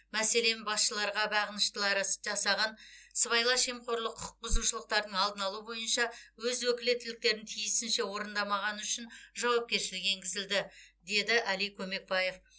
мәселен басшыларға бағыныштылары жасаған сыбайлас жемқорлық құқық бұзушылықтардың алдын алу бойынша өз өкілеттіктерін тиісінше орындамағаны үшін жауапкершілік енгізілді деді әли көмекбаев